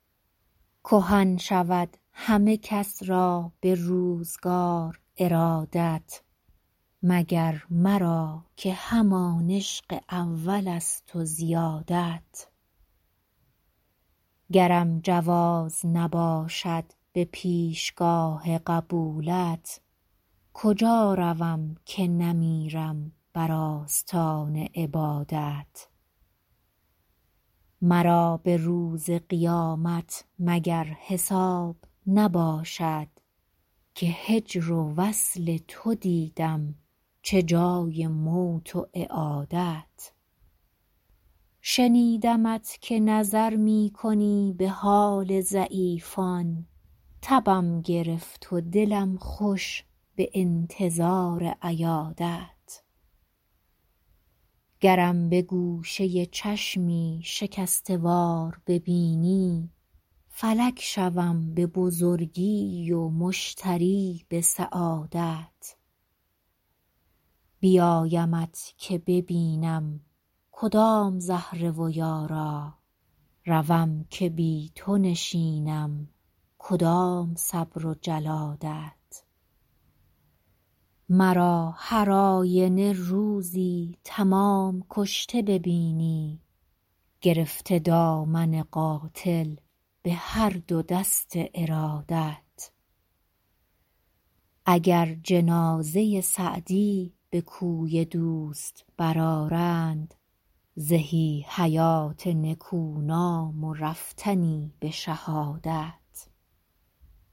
کهن شود همه کس را به روزگار ارادت مگر مرا که همان عشق اولست و زیادت گرم جواز نباشد به پیشگاه قبولت کجا روم که نمیرم بر آستان عبادت مرا به روز قیامت مگر حساب نباشد که هجر و وصل تو دیدم چه جای موت و اعادت شنیدمت که نظر می کنی به حال ضعیفان تبم گرفت و دلم خوش به انتظار عیادت گرم به گوشه چشمی شکسته وار ببینی فلک شوم به بزرگی و مشتری به سعادت بیایمت که ببینم کدام زهره و یارا روم که بی تو نشینم کدام صبر و جلادت مرا هر آینه روزی تمام کشته ببینی گرفته دامن قاتل به هر دو دست ارادت اگر جنازه سعدی به کوی دوست برآرند زهی حیات نکونام و رفتنی به شهادت